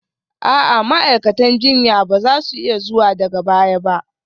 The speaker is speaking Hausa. A'a, ma'aikatan jinya ba za su iya zuwa daga baya ba